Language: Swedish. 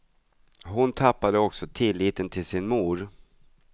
Hon tappade också tilliten till sin mor.